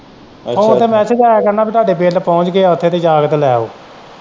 Phone ਤੇ message ਆਇਆ ਕਰਨਾ ਪਈ ਤੁਹਾਡੇ ਬਿਲ ਪਹੁੰਚ ਗਏ ਹੈ ਉੱਥੇ ਤੇ ਜਾ ਕੇ ਲੈ ਆਉ।